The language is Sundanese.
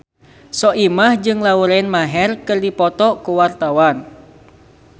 Soimah jeung Lauren Maher keur dipoto ku wartawan